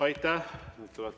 Aitäh!